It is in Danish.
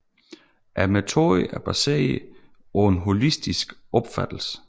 Metoden er baseret på en holistisk opfattelse